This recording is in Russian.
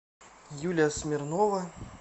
юля смирнова